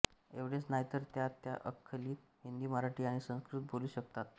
एवढेच नाही तर त्या अस्खलित हिंदी मराठी आणि संस्कृत बोलू शकतं